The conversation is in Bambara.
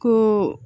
Ko